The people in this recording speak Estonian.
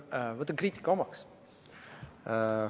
Võtan kriitika omaks.